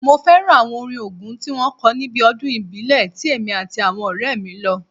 Mo fẹ́ràn àwọn orin Ògún tí wọ́n kọ níbi ọdún ìbílẹ̀ ti èmi àti àwọn ọ̀rẹ́ mí lọ